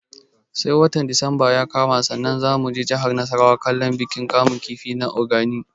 Sai watan disamba ya kama sannan za mu je jihar nasarawa kallon bikin kamun kifi na Ogani